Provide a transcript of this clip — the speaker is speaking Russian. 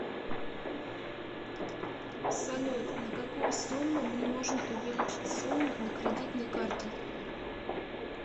салют на какую сумму мне можно увеличить сумму на кредитной карте